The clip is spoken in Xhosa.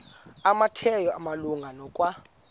kumateyu malunga nokwa